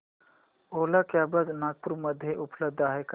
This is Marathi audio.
ओला कॅब्झ नागपूर मध्ये उपलब्ध आहे का